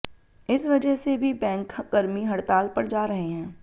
इस वजह से भी बैंक कर्मी हड़ताल पर जा रहे हैं